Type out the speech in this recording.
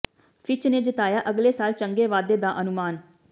Fitch ਨੇ ਜਤਾਇਆ ਅਗਲੇ ਸਾਲ ਚੰਗੇ ਵਾਧੇ ਦਾ ਅਨੁਮਾਨ